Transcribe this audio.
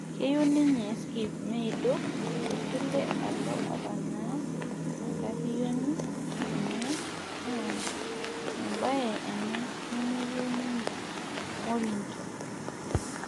Keyieu ninye skip neidur tesile alo opanaa enkariyioni enye naa embaye ena nemeyieu ninye morinnto